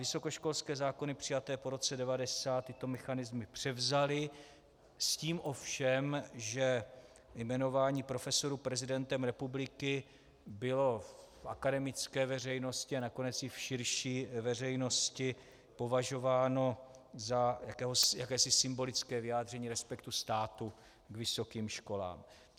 Vysokoškolské zákony přijaté po roce 1990 tyto mechanismy převzaly s tím ovšem, že jmenování profesur prezidentem republiky bylo v akademické veřejnosti a nakonec i v širší veřejnosti považováno za jakési symbolické vyjádření respektu státu k vysokým školám.